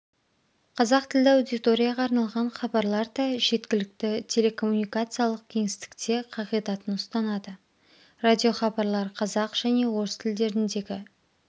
қазақ тілді аудиторияға арналған хабарлар да жеткілікті телекоммуникациялық кеңістікте қағидатын ұстанады радиохабарлар қазақ және орыс тілдеріндегі